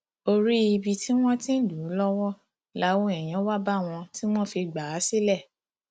orí ibi tí wọn ti ń lù ú lọwọ làwọn èèyàn wá bá wọn tí wọn fi gbà á sílẹ